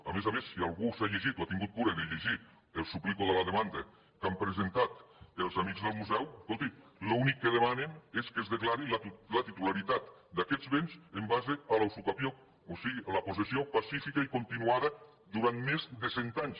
a més a més si algú s’ha llegit o ha tingut cura de llegir el suplico de la demanda que han presentat els amics del museu escolti l’únic que demanen és que es declari la titularitat d’aquests béns en base a la usucapió o sigui la possessió pacífica i continuada durant més de cent anys